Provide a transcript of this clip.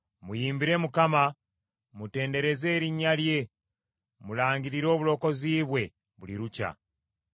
Muyimbire Mukama ; mutendereze erinnya lye, mulangirire obulokozi bwe buli lukya.